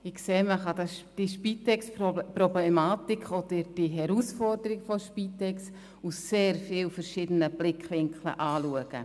Ich sehe, dass man die Spitex-Problematik beziehungsweise die Herausforderung in Sachen Spitex aus vielen verschiedenen Blickwinkeln anschauen kann.